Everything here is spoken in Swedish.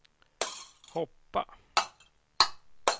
hoppa